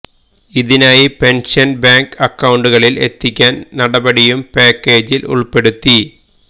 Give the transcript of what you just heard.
ഇതിനായി pension bank അക്കൌണ്ടുകളില് എത്തിക്കാന് നടപടിയും പാക്കേജില് ഉള്പ്പെടുത്തി